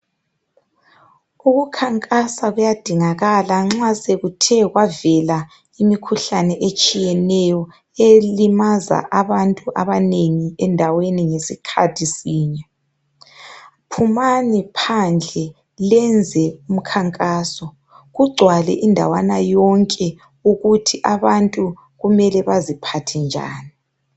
Ukukhankasa kuyadingakala nxa sekuthe kwavela imikhuhlane etshiyeneyo elimaza abantu abanengi endaweni ngesikhathi sinye. Phumani phandle lenze umkhankaso, kugcwale indawana yonke ukuthi abantu kumele baziphathe njani.